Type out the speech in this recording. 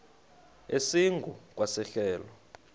esingu kwa sehlelo